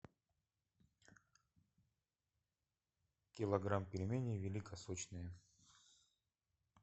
килограмм пельменей великосочные